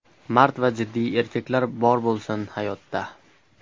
Mard va jiddiy erkaklar bor bo‘lsin, hayotda!”